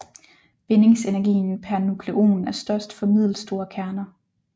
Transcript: Bindingsenergien per nukleon er størst for middelstore kerner